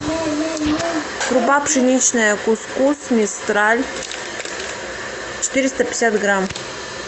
крупа пшеничная кус кус мистраль четыреста пятьдесят грамм